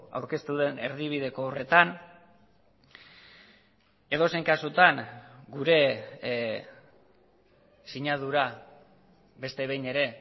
aurkeztu den erdibideko horretan edozein kasutan gure sinadura beste behin ere